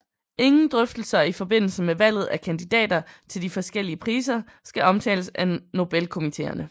Ingen drøftelser i forbindelse med valget af kandidater til de forskellige priser skal omtales af Nobelkomiteerne